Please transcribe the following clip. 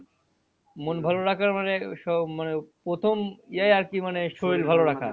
মন ভালো রাখার মানে সব মানে প্রথম ইয়ে আরকি মানে